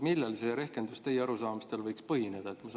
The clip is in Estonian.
Millel see rehkendus teie arusaamise kohaselt võiks põhineda?